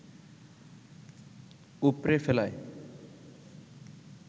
উপড়ে ফেলায়